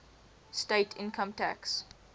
state income tax